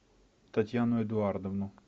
татьяну эдуардовну